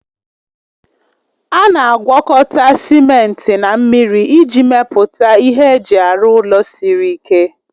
A na-agwọkọta simenti na mmiri iji mepụta ihe eji arụ ụlọ siri ike